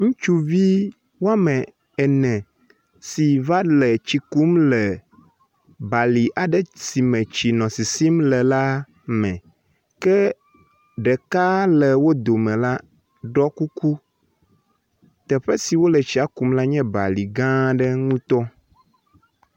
Ŋutsuvi woamene si va le tsi kum le bali aɖe si me tsi nɔ sisim le la me. Ke ɖeka le wo dome la ɖɔ kuku. Teƒe si wole tsia kum le la nye bali gã aɖe ŋu to